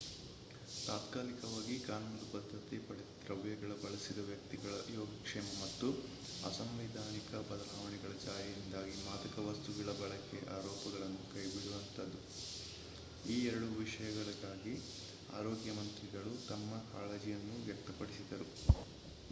ತಾತ್ಕಾಲಿಕವಾಗಿ ಕಾನೂನುಬದ್ಧತೆ ಪಡೆದ ದ್ರವ್ಯಗಳ ಬಳಸಿದ ವ್ಯಕ್ತಿಗಳ ಯೋಗಕ್ಷೇಮ ಮತ್ತು ಅಸಂವಿಧಾನಿಕ ಬದಲಾವಣೆಗಳ ಜಾರಿಯಿಂದಾಗಿ ಮಾದಕ ವಸ್ತುಗಳ ಬಳಕೆಯ ಅರೋಪಗಳನ್ನು ಕೈಬಿಡುವಂತಾದುದು ಈ ಎರಡೂ ವಿಷಯಗಳಿಗಾಗಿ ಆರೋಗ್ಯ ಮಂತ್ರಿಗಳು ತಮ್ಮ ಕಾಳಜಿಯನ್ನು ವ್ಯಕ್ತಪಡಿಸಿದರು